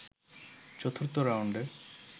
চতুর্থ রাউন্ডে